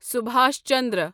سبھاش چندرا